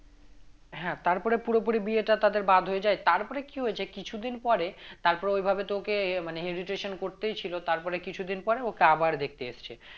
হ্যাঁ তারপরে পুরোপুরি বিয়েটা তাদের বাদ হয়ে যায় তারপরে কি হয়েছে কিছুদিন পরে তারপরে ওইভাবে তো ওকে মানে করতেই ছিল তারপরে কিছুদিন পরে ওকে আবার দেখতে এসছে